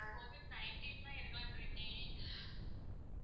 covid nineteen தான் எடுக்கலான்ட்டு இருக்கேன்